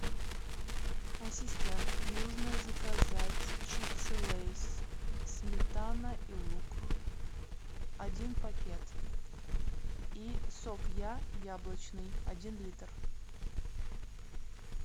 ассистент нужно заказать чипсы лейс сметана и лук один пакет и сок я яблочный один литр